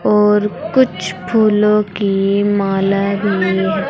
और कुछ फूलों की माला भी है।